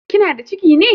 Kina da ciki ne?